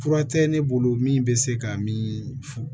Fura tɛ ne bolo min bɛ se ka min fu